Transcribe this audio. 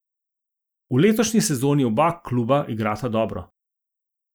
V letošnji sezoni oba kluba igrata dobro.